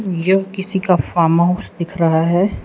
यह किसी का फार्महाउस दिख रहा है।